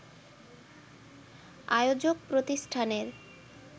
আয়োজক প্রতিষ্ঠানের